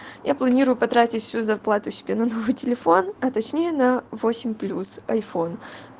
я планирую потратить всю зарплату себе новый телефон а точнее на восемь плюс айфон